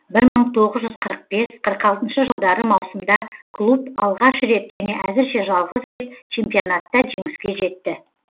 бір мың тоғыз жүз қырық бес қырық алтыншы жылдары маусымда клуб алғаш рет және әзірше жалғыз рет чемпионатта жеңіске жетті